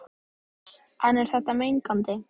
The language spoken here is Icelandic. En er þetta mengandi?